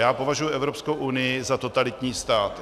Já považuji Evropskou unii za totalitní stát.